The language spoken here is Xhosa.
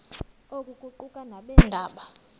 oku kuquka nabeendaba